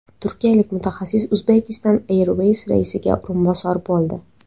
Turkiyalik mutaxassis Uzbekistan Airways raisiga o‘rinbosar bo‘ldi.